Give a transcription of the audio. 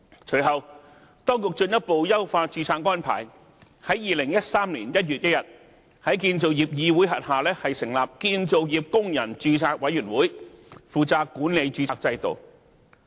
隨後，當局進一步優化註冊安排，在2013年1月1日，在建造業議會轄下成立建造業工人註冊委員會，負責管理註冊制度。